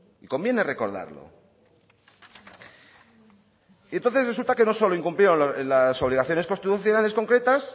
y conviene recordarlo y entonces resulta que no solo incumplió las obligaciones constitucionales concretas